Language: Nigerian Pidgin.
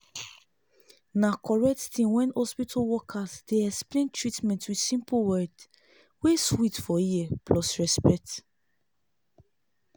na correct tin when hospital workers dey explain treatment with simple word wey sweet for ear plus respect.